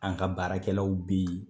An ka baarakɛlaw be yen